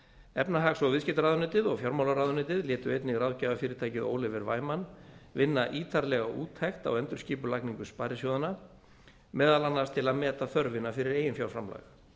efnahags og viðskiptaráðuneytið og fjármálaráðuneytið létu einnig ráðgjafarfyrirtækið oliver wyman vinna ítarlega úttekt á endurskipulagningu sparisjóðanna meðal annars til að meta þörfina fyrir eiginfjárframlag